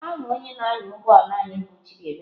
Aha onye na-anya ụgbọ ala anyị bụ Chidiebere.